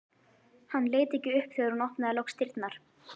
Hann leit ekki upp þegar hún opnaði loks dyrnar.